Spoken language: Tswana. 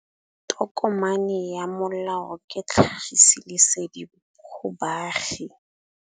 Tokomane ya molao ke tlhagisi lesedi go baagi.